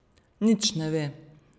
Nič ne ve.